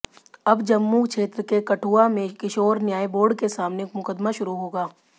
अब जम्मू क्षेत्र के कठुआ में किशोर न्याय बोर्ड के सामने मुकदमा शुरू होगा